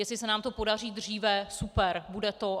Jestli se nám to podaří dříve, super, bude to.